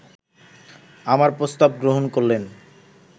আমার প্রস্তাব গ্রহণ করলেন